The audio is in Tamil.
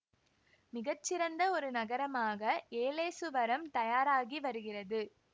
மிகச்சிறந்த ஒரு நகரமாக ஏலேசுவரம் தயாராகிவருகிறது